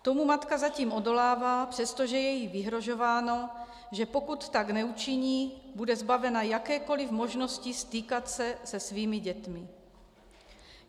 Tomu matka zatím odolává, přestože je jí vyhrožováno, že pokud tak neučiní, bude zbavena jakékoli možnosti stýkat se se svými dětmi.